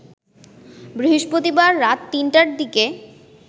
বৃহস্পতিবার রাত ৩টার দিকে